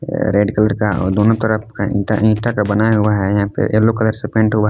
Red colour का दोनों तरफ ईटा ईटा का बनाया हुआ है यहां पर येलो कलर से पेंट हुआ है।